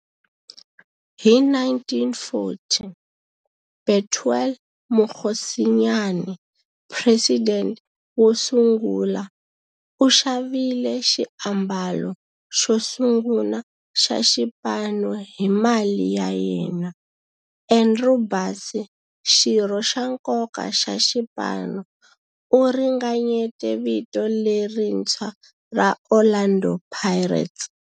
Hi 1940, Bethuel Mokgosinyane, president wosungula, u xavile xiambalo xosungula xa xipano hi mali ya yena. Andrew Bassie, xirho xa nkoka xa xipano, u ringanyete vito lerintshwa ra 'Orlando Pirates'.